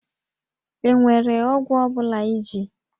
E nwere ọgwụ ọ bụla iji?